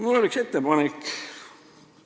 Mul on üks ettepanek.